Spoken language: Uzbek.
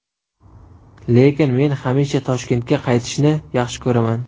Lekin men hamisha Toshkentga qaytishni yaxshi ko‘raman.